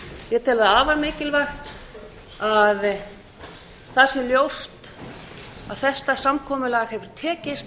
ég tel það afar mikilvægt að það sé ljóst að þetta samkomulag hefur tekist